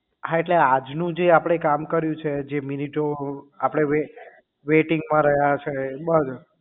હા એટલે આજ નું જે આપણે કામ કર્યું છે જે મિનિટો આપણે waiting માં રહ્યા છે એ બધું